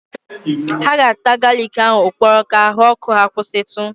Ha ga-ata galiki ahụ ụkpọrọ ka ahụ ọkụ ha kwụsịtụ.